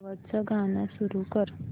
शेवटचं गाणं सुरू कर